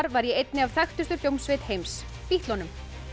var í einni þekktustu hljómsveit heims Bítlunum